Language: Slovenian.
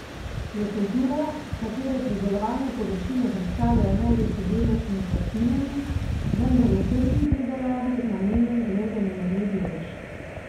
Je kultura, katere pridelovalne površine predstavljajo največji delež med vrtninami, vendar je tržni pridelavi namenjen le zanemarljiv delež.